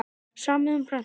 Samið um prentun